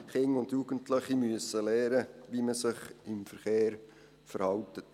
Kinder und Jugendliche müssen lernen, wie man sich im Verkehr verhält.